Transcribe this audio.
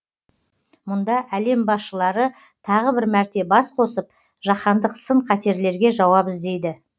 мұнда әлем басшылары тағы бір мәрте бас қосып жаһандық сын қатерлерге жауап іздейді